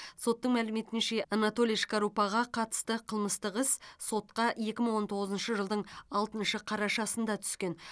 соттың мәліметінше анатолий шкарупаға қатысты қылмыстық іс сотқа екі мың он тоғызыншы жылдың алтыншы қарашасында түскен